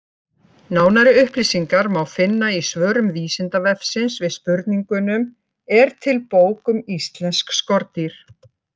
Nánari upplýsingar má finna í svörum Vísindavefsins við spurningunum: Er til bók um íslensk skordýr?